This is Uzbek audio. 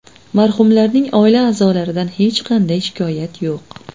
Marhumlarning oila a’zolaridan hech qanday shikoyat yo‘q.